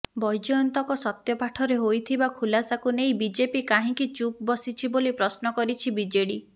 ବୈଜୟନ୍ତଙ୍କ ସତ୍ୟପାଠରେ ହୋଇଥିବା ଖୁଲାସାକୁ ନେଇ ବିଜେପି କାହିଁକି ଚୁପ୍ ବସିଛି ବୋଲି ପ୍ରଶ୍ନ କରିଛି ବିଜେଡି